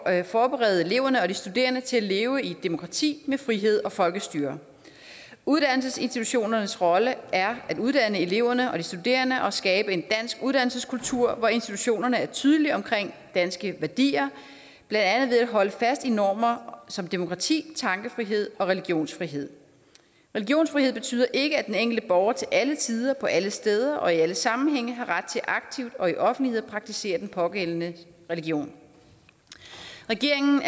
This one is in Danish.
at forberede eleverne og de studerende til at leve i et demokrati med frihed og folkestyre uddannelsesinstitutionernes rolle er at uddanne eleverne og de studerende og skabe en dansk uddannelseskultur hvor institutionerne er tydelige omkring danske værdier blandt andet ved at holde fast i normer som demokrati tankefrihed og religionsfrihed religionsfrihed betyder ikke at den enkelte borger til alle tider på alle steder og i alle sammenhænge har ret til aktivt og i offentlighed at praktisere den pågældende religion regeringen